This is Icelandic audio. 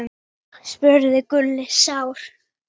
spurði Gulli sár.